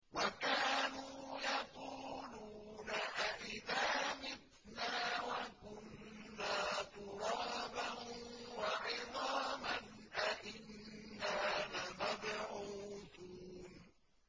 وَكَانُوا يَقُولُونَ أَئِذَا مِتْنَا وَكُنَّا تُرَابًا وَعِظَامًا أَإِنَّا لَمَبْعُوثُونَ